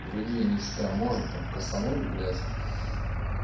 другие нечто можно там кассануть блядь